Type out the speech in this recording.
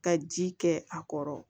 Ka ji kɛ a kɔrɔ